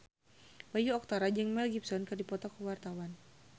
Bayu Octara jeung Mel Gibson keur dipoto ku wartawan